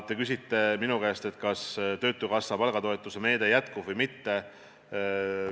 Te küsite minu käest, kas töötukassa palgatoetuse meede jätkub või mitte.